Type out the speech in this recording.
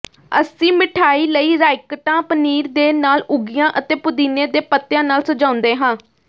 ਅਸੀਂ ਮਿਠਾਈ ਲਈ ਰਾਈਕਟਾ ਪਨੀਰ ਦੇ ਨਾਲ ਉਗੀਆਂ ਅਤੇ ਪੁਦੀਨੇ ਦੇ ਪੱਤਿਆਂ ਨਾਲ ਸਜਾਉਂਦੇ ਹਾਂ